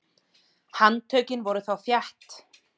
Handtökin voru þá þétt.